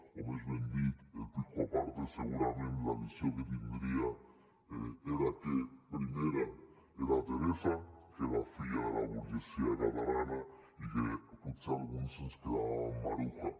o més ben dit el pijoaparte segurament la visió que tindria era que primera era teresa que era filla de la burgesia catalana i que potser alguns ens quedàvem amb maruja